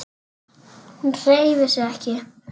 Hún hreyfir sig ekki.